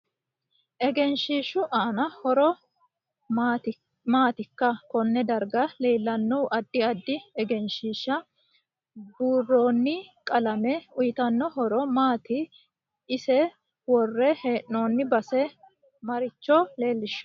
Egenshishu aano horo maaatikonne darga leelanno addi addi egenshiira buurooni qalame uyiitanno horo maati iso worre heenooni base maricho leelishanno